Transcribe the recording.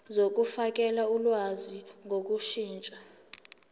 zokufakela ulwazi ngokushintsha